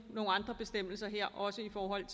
andre bestemmelser her også i forhold